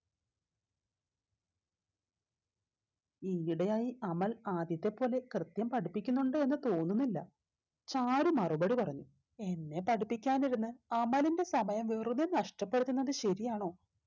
ഈയിടെയായി അമൽ ആദ്യത്തെ പോലെ കൃത്യം പഠിപ്പിക്കുന്നുണ്ട് എന്ന് തോന്നുന്നില്ല sir മറുപടി പറഞ്ഞു എന്നെ പഠിപ്പിക്കാനിരുന്ന് അമലിന്റെ സമയം വെറുതെ നഷ്ടപ്പെടുത്തുന്നത് ശരിയാണോ